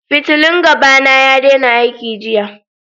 Fitillan gaba na ya daina aiki jiya.